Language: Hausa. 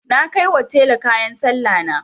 Na kai wa tela kayan Sallahna.